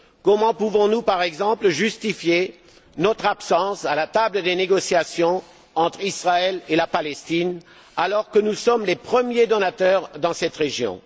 Comment pouvons nous, par exemple, justifier notre absence à la table des négociations entre Israël et la Palestine, alors que nous sommes les premiers donateurs dans cette région?